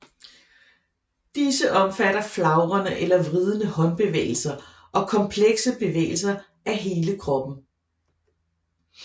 Disse omfatter flagrende eller vridende håndbevægelser og komplekse bevægelser af hele kroppen